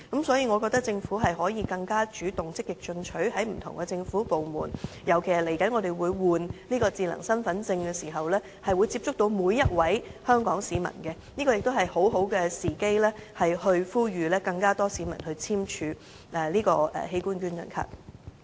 所以，我覺得政府可以更加主動，積極在不同政府部門宣傳器官捐贈，尤其是我們將要更換智能身份證，會接觸到每一位香港市民，這是一個很好的時機呼籲更多市民簽署器官捐贈卡。